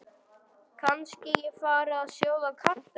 Kannski ég fari að sjóða kartöflur.